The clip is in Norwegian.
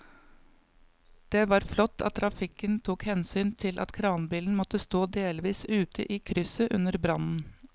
Det var flott at trafikken tok hensyn til at kranbilen måtte stå delvis ute i krysset under brannen.